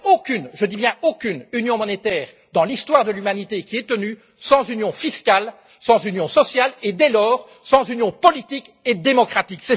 Il n'y a aucune je dis bien aucune union monétaire dans l'histoire de l'humanité qui ait tenu sans union fiscale, sans union sociale et, dès lors, sans union politique et démocratique.